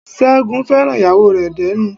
Ṣẹ́gun fẹ́ràn ìyàwó rè dénú